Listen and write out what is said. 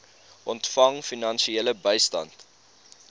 ontvang finansiële bystand